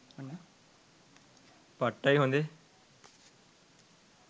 පට්ටයි හොදේ